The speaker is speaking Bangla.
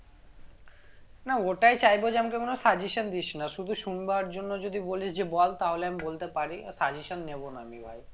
না ওটাই চাইবো যে আমাকে কোনো suggestion দিস না শুধু শুনবার জন্য যদি বলিস যে বল তাহলে আমি বলতে পারি suggestion নেব না আমি ভাই